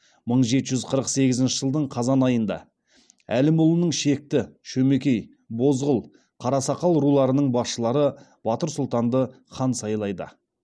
мың жеті жүз қырық сегізінші жылдың қазан айында әлімұлының шекті шөмекей бозғыл қарасақал руларының басшылары батыр сұлтанды хан сайлайды